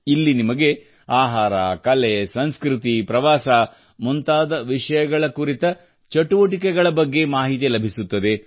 ಇಲ್ಲಿ ನಿಮಗೆ ಆಹಾರ ಕಲೆ ಸಂಸ್ಕೃತಿ ಪ್ರವಾಸ ಮುಂತಾದ ವಿಷಯಗಳ ಕುರಿತು ಚಟುವಟಿಕೆಗಳ ಬಗ್ಗೆ ಮಾಹಿತಿ ಲಭಿಸುತ್ತದೆ